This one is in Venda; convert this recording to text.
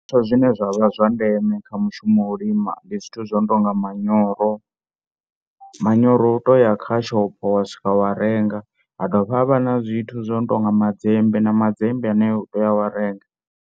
Zwishumiswa zwine zwa vha zwa ndeme kha mushumo wa u lima ndi zwithu zwo no tou nga manyoro, manyoro u tou ya kha mashopo wa swika wa renga ha dovha ha vha na zwithu zwo no tou nga madzembe na madzembe ane u toi ya wa renga.